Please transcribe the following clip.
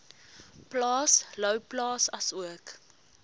plaas louwplaas asook